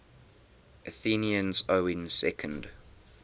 athenians owning second